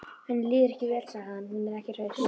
Henni líður ekki vel, sagði hann: Hún er ekki hraust.